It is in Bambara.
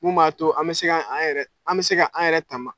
Mun m'a to an mɛ se k'an yɛrɛ an mɛ se k'an yɛrɛ tama